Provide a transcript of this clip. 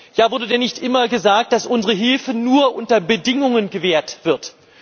Ja, wurde denn nicht immer gesagt, dass unsere Hilfe nur unter Bedingungen gewährt wird?